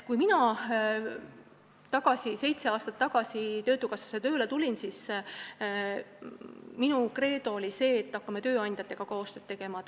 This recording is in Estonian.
Kui mina seitse aastat tagasi töötukassasse tööle tulin, siis minu kreedo oli see, et hakkame tööandjatega koostööd tegema.